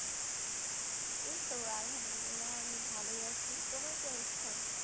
এইতো আলহামদুলিল্লাহ আমি ভালোই আছি তোমার কি অবস্থা?